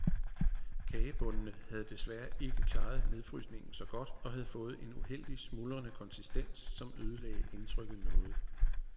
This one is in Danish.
Kagebundene havde desværre ikke klaret nedfrysningen så godt og havde fået en uheldig, smuldrende konsistens, som ødelagde indtrykket noget.